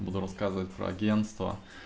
буду рассказывать про агентство